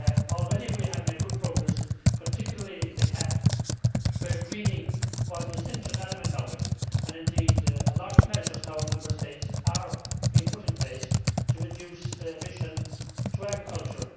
Already we have made good progress, particularly in the CAP, where greening was an essential element and, indeed, a lot of measures now at Member States level are being put in place to reduce emissions through agriculture.